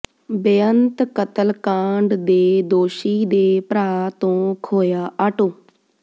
ਬੇਅੰਤ ਕਤਲਕਾਂਡ ਦੇ ਦੋਸ਼ੀ ਦੇ ਭਰਾ ਤੋਂ ਖੋਹਿਆ ਆਟੋ